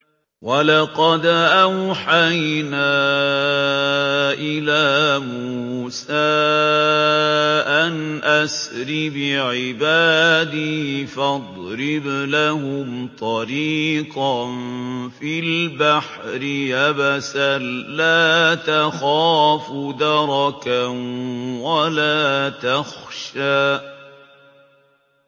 وَلَقَدْ أَوْحَيْنَا إِلَىٰ مُوسَىٰ أَنْ أَسْرِ بِعِبَادِي فَاضْرِبْ لَهُمْ طَرِيقًا فِي الْبَحْرِ يَبَسًا لَّا تَخَافُ دَرَكًا وَلَا تَخْشَىٰ